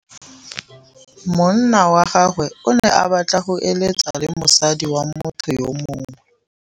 Monna wa gagwe o ne a batla go êlêtsa le mosadi wa motho yo mongwe.